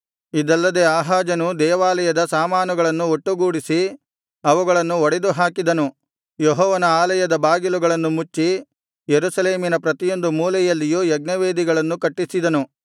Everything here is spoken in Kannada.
ಇದಲ್ಲದೆ ಆಹಾಜನು ದೇವಾಲಯದ ಸಾಮಾನುಗಳನ್ನು ಒಟ್ಟುಗೂಡಿಸಿ ಅವುಗಳನ್ನು ಒಡೆದುಹಾಕಿದನು ಯೆಹೋವನ ಆಲಯದ ಬಾಗಿಲುಗಳನ್ನು ಮುಚ್ಚಿ ಯೆರೂಸಲೇಮಿನ ಪ್ರತಿಯೊಂದು ಮೂಲೆಯಲ್ಲಿಯೂ ಯಜ್ಞವೇದಿಗಳನ್ನು ಕಟ್ಟಿಸಿದನು